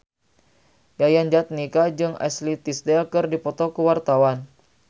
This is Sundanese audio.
Yayan Jatnika jeung Ashley Tisdale keur dipoto ku wartawan